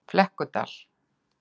Flekkudal